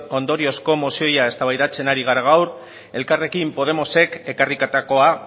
ondoriozko mozioa eztabaidatzen ari gara gaur elkarrekin podemosek ekarritakoa